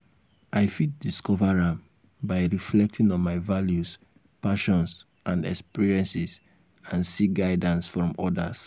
i fit discover am by reflecting on my values passions and experiences and seek guidance from odas.